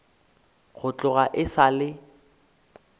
go tloga e sa le